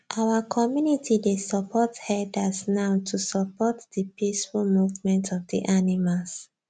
our community dey support herders now to support the peaceful movement of the animals